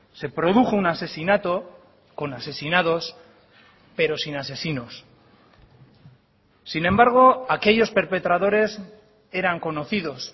se produjo un asesinato con asesinados pero sin asesinos sin embargo aquellos perpetradores eran conocidos